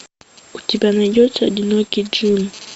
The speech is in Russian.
у тебя найдется одинокий джим